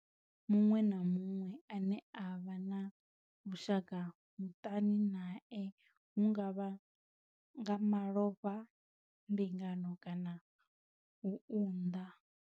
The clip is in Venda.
Muṅwe na muṅwe ane vha vha na vhushaka muṱani nae hu nga vha nga malofha, mbingano kana u unḓa.